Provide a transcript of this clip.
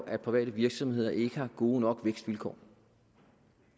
at private virksomheder ikke har gode nok vækstvilkår